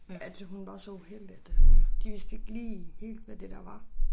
At hun var så uheldig at øh de vidste ikke lige helt hvad det der var